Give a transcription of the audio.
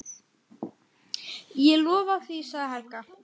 Ég lofa því, sagði Helga.